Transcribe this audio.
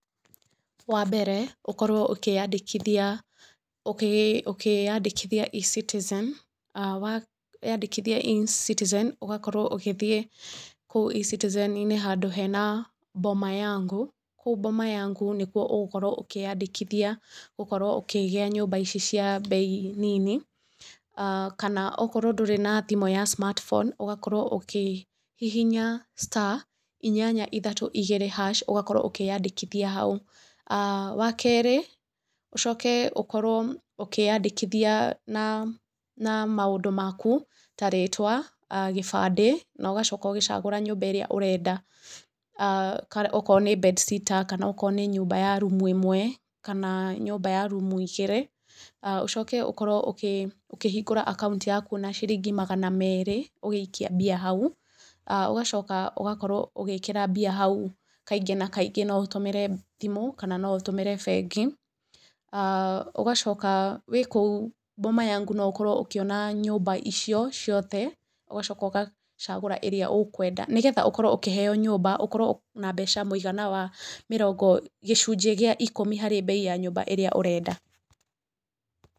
Wa mbere, ũkorwo ũkĩandĩkithia ũkĩandĩkithia eCitizen, weyandĩkithie eCitizen ũgakorwo ũgĩthiĩ eCitizen-inĩ handũ hena Boma Yangu. Kũu Boma Yangu nĩkuo ũgũkorwo ũkĩandĩkithia gũkorwo ũkĩgĩa nyũmba ici cia mbei nini kana okorwo ndũrĩ na thimũ ya smartphone ũgakorwo ũkĩhihinya star inyanya ithatũ igĩrĩ hash ũgakorwo ũkĩandĩkithia hau. Wa keerĩ ũcoke ũkorwo ũkĩĩandĩkithia na na maũndũ maku ta rĩtwa, gĩbandĩ, na ũgacoka ũgĩcagũra nyũmba ĩrĩa ũrenda, okorwo nĩ bedsitter kana okorwo nĩ nyũmba ya rumu ĩmwe, kana nyũmba ya rumu igĩri. Ũcoke ũkorwo ũkĩhingũra account yaku na ciringi magana meerĩ ũgĩikia mbia hau. Ũgacoka ũgakorwo ugĩĩkĩra mbia hau kaingĩ na kaingĩ no ũtũmĩre thimũ, na no ũtũmĩre bengi. Ũgacoka wĩ kũu Boma Yangu no ũkorwo ũkĩona nyũmba icio ciothe ũgacoka ũgacagũra ĩrĩa ũkwenda nĩgetha ũkorwo ũkĩheo nyũmba ũkorwo na mbeca mũigana wa mĩrongo gĩcunjĩ gĩa ikũmi harĩ mbei ya nyũmba ĩrĩa ũrenda.